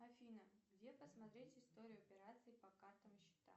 афина где посмотреть историю операций по картам и счетам